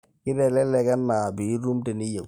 keitelelek enaa piitum teniyieu